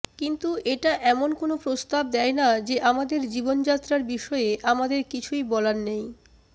কিন্তু এটা এমন কোন প্রস্তাব দেয় না যে আমাদের জীবনযাত্রার বিষয়ে আমাদের কিছুই বলার নেই